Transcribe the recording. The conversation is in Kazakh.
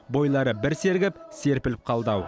бойлары бір сергіп серпіліп қалды ау